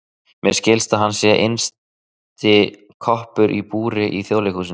Mér skilst að hann sé innsti koppur í búri í Þjóðleikhúsinu.